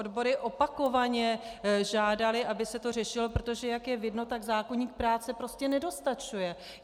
Odbory opakovaně žádaly, aby se to řešilo, protože jak je vidno, tak zákoník práce prostě nedostačuje.